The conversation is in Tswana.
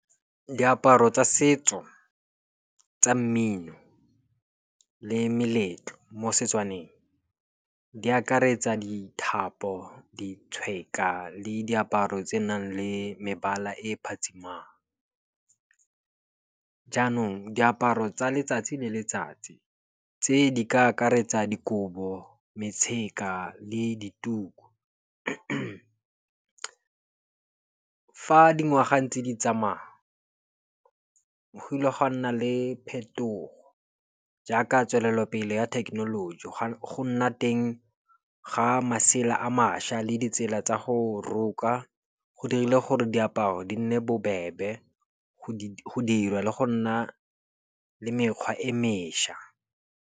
Diaparo tsa setso tsa mmino le meletlo mo Setswaneng di akaretsa dithapo, ditshweka le diaparo tse nang le mebala e phatsimang. Jaanong diaparo tsa letsatsi le letsatsi, tse di ka akaretsa dikobo, metshaka le dituku. Fa dingwaga ntse di tsamaya, go kile ga a nna le phetogo jaaka tswelelopele ya thekenoloji go nna teng ga masela a mašwa le ditsela tsa go roka. Go dirile gore diaparo di nne bobebe go dirwa le go nna le mekgwa e mešwa.